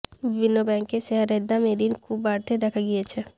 বিভিন্ন ব্যাংকের শেয়ারের দাম এদিন খুব বাড়তে দেখা গিয়েছে